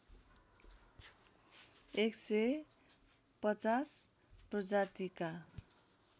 एक सय ५० प्रजातिका